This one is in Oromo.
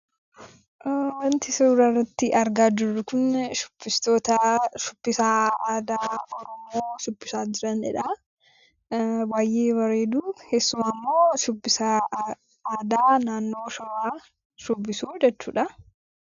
Wanti suura irratti argaa jirru kun shibbistoota shubbisa aadaa Oromoo shubbisaa jiranidha. Baay'ee bareedu. Keessumaa immoo shubbisa aadaa naannoo shawaa shubbisu jechuudha.